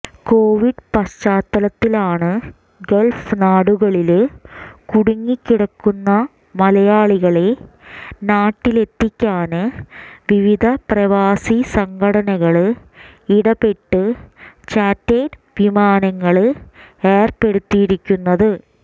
Covid പശ്ചാത്തലത്തിലാണ് Gulf നാടുകളില് കുടുങ്ങിക്കിടക്കുന്ന മലയാളികളെ നാട്ടിലെത്തിക്കാന് വിവിധ പ്രവാസി സംഘടനകള് ഇടപെട്ട് ചാര്ട്ടേര്ഡ് വിമാനങ്ങള് ഏര്പ്പെടുത്തിയിരിക്കുന്നത്